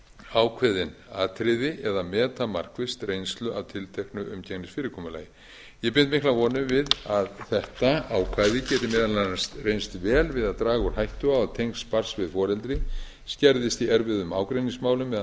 ákveðin atriði eða meta markvisst reynslu af tilteknu umgengnisfyrirkomulagi ég bind miklar vonir við að þetta ákvæði geti meðal annars reynst vel við að draga úr hættu á að tengsl barns við foreldri skerðist í erfiðum ágreiningsmálum þegar mál